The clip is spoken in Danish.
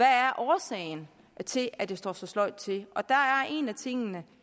er årsagen til at det står så sløjt til der er en af tingene